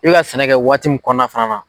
I bi ka sɛnɛ kɛ waati min kɔnɔ fana